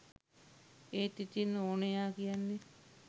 ඒත් ඉතින් ඕනයා කියන්නෙත්